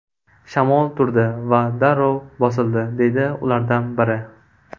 Shamol turdi va darrov bosildi”, deydi ulardan biri.